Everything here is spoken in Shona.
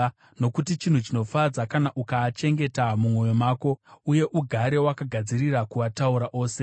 nokuti chinhu chinofadza kana ukaachengeta mumwoyo mako, uye ugare wakagadzirira kuataura ose.